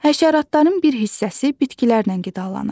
Həşəratların bir hissəsi bitkilərlə qidalanır.